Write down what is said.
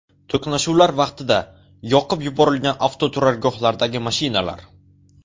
To‘qnashuvlar vaqtida yoqib yuborilgan avtoturargohlardagi mashinalar.